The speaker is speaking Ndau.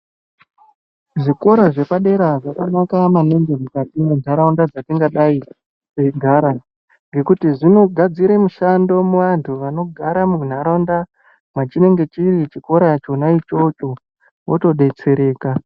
Zvikora zvepadera zvakanaka maningi mukati muntharaunda dzatingadai teigara ngekuti zvinogadzire mishando kuvanthu vanenge vari machiri chikora chona ichocho otodetsereka.